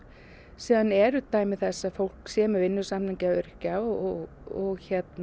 síðan eru dæmi þess að fólk sé með vinnusamning öryrkja og